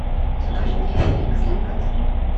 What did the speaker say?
закажи мне феликс для котов